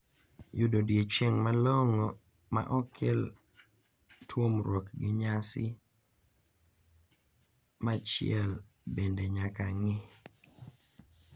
Yudo odiechieng` malong`o ma ok kel tuomruok gi nyasi machiel bende nyaka ng`i.